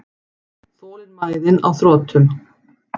Þolinmæðin á þrotum.